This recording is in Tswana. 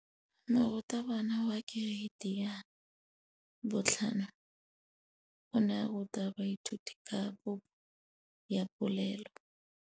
Moratabana wa kereiti ya 5 o ne a ruta baithuti ka popô ya polelô.